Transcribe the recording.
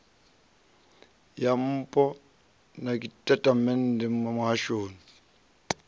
ya npo na tshitatamennde muhashoni